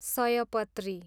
सयपत्री